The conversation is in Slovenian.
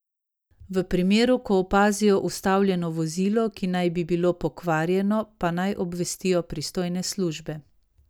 V primeru, ko opazijo ustavljeno vozilo, ki naj bi bilo pokvarjeno, pa naj obvestijo pristojne službe.